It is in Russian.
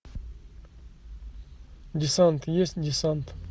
десант есть десант